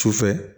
Sufɛ